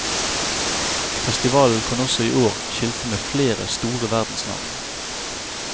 Festivalen kan også i år skilte med flere store verdensnavn.